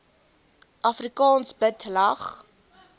afrikaans bid lag